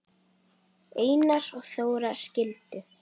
Einar og Þóra skildu.